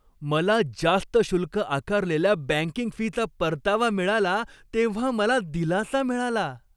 मला जास्त शुल्क आकारलेल्या बँकिंग फीचा परतावा मिळाला तेव्हा मला दिलासा मिळाला.